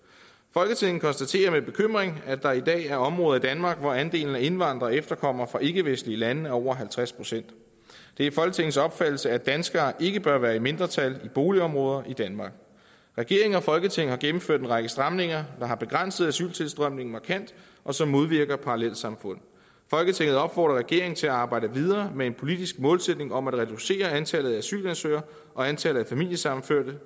folketinget konstaterer med bekymring at der i dag er områder i danmark hvor andelen af indvandrere og efterkommere fra ikkevestlige lande er over halvtreds procent det er folketingets opfattelse at danskere ikke bør være i mindretal i boligområder i danmark regeringen og folketinget har gennemført en række stramninger der har begrænset asyltilstrømningen markant og som modvirker parallelsamfund folketinget opfordrer regeringen til at arbejde videre med en politisk målsætning om at reducere antallet af asylansøgere og antallet af familiesammenførte